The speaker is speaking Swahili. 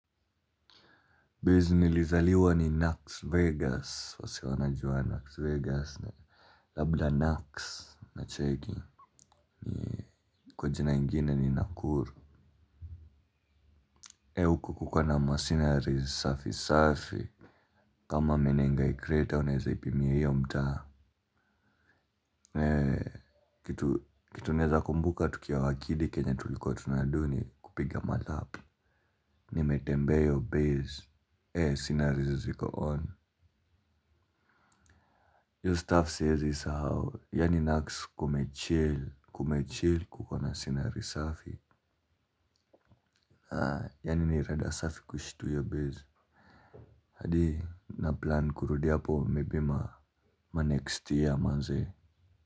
Baze nilizaliwa ni Naks Vegas, wase wanajua Naks Vegas, labla Naks na cheki. Kwa jina ingine ni Nakuru. E huko kukona masinari safi safi. Kama menenga ikreta, unaeza ipimia hiyo mta. Kitu naeza kumbuka tukia wakidi kenya tuliko tunaduni kupiga malapu. Nimete mbea hio bezi, ee sinari ziko on Yo staff says is how, ya ninax kume chel, kume chel kukona sinari safi. Ya nini rada safi kushitu yo bezi. Hadi na plan kurudi hapo mibi ma next year manze.